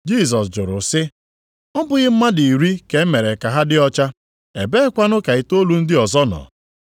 Jisọs jụrụ sị, “Ọ bụghị mmadụ iri ka e mere ka ha dị ọcha, ebeekwanụ ka itoolu ndị ọzọ nọ?